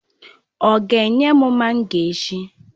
Ọ ga enye m mango echi.